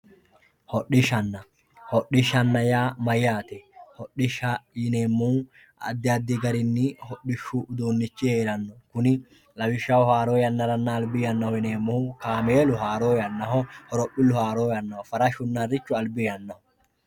hodhishshanna hodhishshanna yaa mayyate hodhishsha yineemmohu addi addi garinnni uduunnichu heeranno kuni lawishshaho haaro yannaranna albi yannaho yineemmkohu kaameelu haaro yannaho horophillu haaro yannaho farashunna harrichu albbi yannaho.